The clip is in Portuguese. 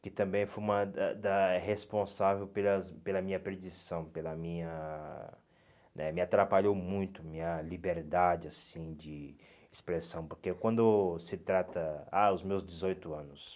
que também foi uma da da responsável pelas pela minha perdição pela minha, né me atrapalhou muito a minha liberdade assim de expressão, porque quando se trata ah os meus dezoito anos,